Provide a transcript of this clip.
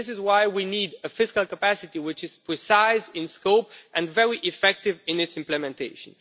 This is why we need a fiscal capacity which is precise in scope and very effective in its implementation.